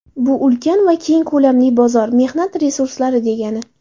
Bu ulkan va keng ko‘lamli bozor, mehnat resurslari degani.